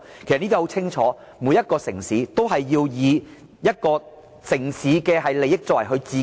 其實很清楚顯示，每個城市均以城市本身的利益來作為自身考慮、......